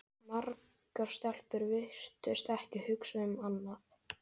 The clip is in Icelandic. Margar stelpur virtust ekki hugsa um annað.